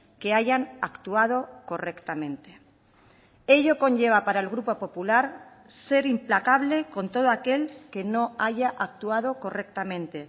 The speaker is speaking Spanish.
que hayan actuado correctamente ello conlleva para el grupo popular ser implacable con todo aquel que no haya actuado correctamente